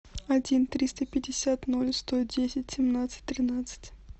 один триста пятьдесят ноль сто десять семнадцать тринадцать